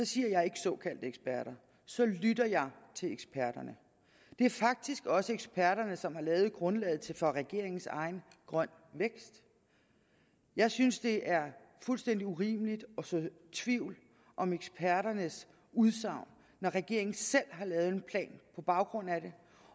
siger jeg ikke såkaldte eksperter så lytter jeg til eksperterne det er faktisk også eksperterne som har lavet grundlaget for regeringens egen grøn vækst jeg synes det er fuldstændig urimeligt at så tvivl om eksperternes udsagn når regeringen selv har lavet en plan på baggrund af det